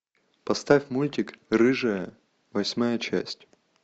поставь мультик рыжая восьмая часть